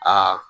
Aa